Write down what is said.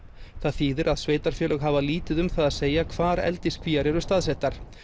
það þýðir að sveitarfélög hafa lítið um það að segja hvar eldiskvíar eru staðsettar